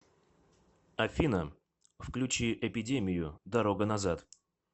афина включи эпидемию дорога назад